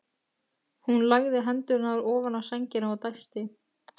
Hún lagði hendurnar ofan á sængina og dæsti.